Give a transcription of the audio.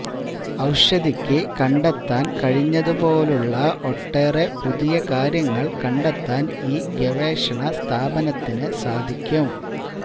ഔഷധിക്ക് കണ്ടെത്താൻ കഴിഞ്ഞതുപോലുള്ള ഒട്ടേറെ പുതിയ കാര്യങ്ങൾ കണ്ടെത്താൻ ഈ ഗവേഷണ സ്ഥാപനത്തിന് സാധിക്കും